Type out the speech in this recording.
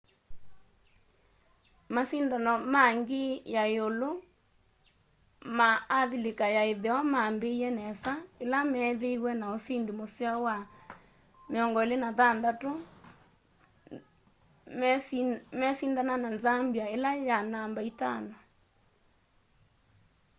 masindano ma ngii ya yiulu ma avilika ya itheo mambiie nesa ila meethiiwe na usindi museo wa 26 - 00 meisindana na zambia ila ya namba itano